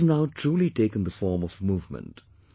This has now truly taken the form of a movement